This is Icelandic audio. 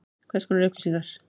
Hvers konar upplýsingar?